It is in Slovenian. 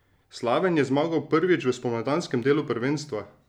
Slaven je zmagal prvič v spomladanskem delu prvenstva!